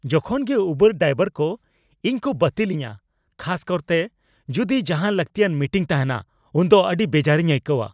ᱡᱚᱠᱷᱚᱱ ᱜᱮ ᱩᱵᱟᱨ ᱰᱨᱟᱭᱵᱷᱟᱨ ᱠᱚ ᱤᱧ ᱠᱚ ᱵᱟᱹᱛᱤᱞᱤᱧᱟᱹ, ᱠᱷᱟᱥᱠᱟᱨᱛᱮ ᱡᱩᱫᱤ ᱡᱟᱦᱟᱱ ᱞᱟᱹᱠᱛᱤᱭᱟᱱ ᱢᱤᱴᱤᱝ ᱛᱟᱦᱮᱱᱟ ᱩᱱᱫᱚ ᱟᱹᱰᱤ ᱵᱮᱡᱟᱨᱤᱧ ᱟᱹᱭᱠᱟᱹᱣᱟ ᱾